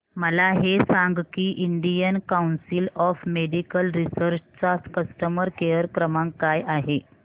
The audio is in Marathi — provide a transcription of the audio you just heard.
मला हे सांग की Indian council of medical research चा कस्टमर केअर क्रमांक काय आहे